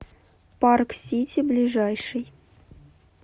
парк сити ближайший